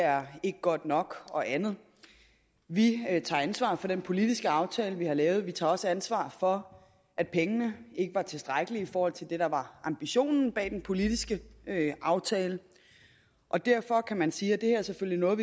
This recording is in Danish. er godt nok og andet vi tager ansvar for den politiske aftale vi har lavet vi tager også ansvar for at pengene ikke var tilstrækkelige i forhold til det der var ambitionen bag den politiske aftale og derfor kan man sige at det her selvfølgelig er